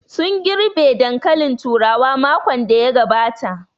Sun girɓe dankalin turawa makon da ya gabata